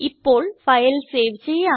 ഇപ്പോൾ file save ചെയ്യാം